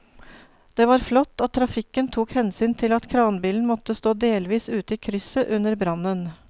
Det var flott at trafikken tok hensyn til at kranbilen måtte stå delvis ute i krysset under brannen.